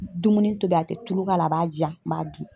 Dumuni tobi a tɛ tulu k'a la a b'a ji yan n b'a dun.